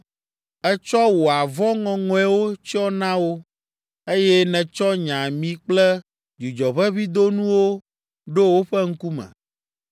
Ètsɔ wò avɔ ŋɔŋɔewo tsyɔ na wo, eye nètsɔ nye ami kple dzudzɔʋeʋĩdonuwo ɖo woƒe ŋkume.